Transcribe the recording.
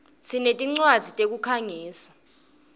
sinetincwadzi tekukhangisa